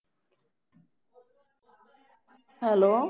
hello